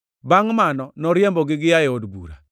Bangʼ mano noriembogi gia e od bura.